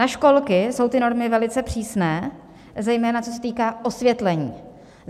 na školky jsou ty normy velice přísné, zejména co se týká osvětlení.